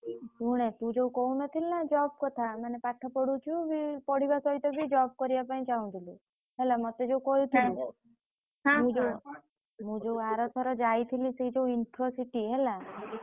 ଶୁଣେ ତୁ ଯୋଉ କହୁନଥିଲୁ ନା job କଥା ମାନେ ପାଠ ପଢୁଛୁ ଉଁ ପଢିବା ସହିତ ବି job କରିଆ ପାଇଁ ଚାହୁଁଥିଲୁ ହେଲା ମତେ ଯୋଉ କହିଥିଲୁ ମୁଁ ଯୋଉ ଆରଥର ଯାଇଥିଲି ସେ ଯୋଉ Infocity ହେଲା, ।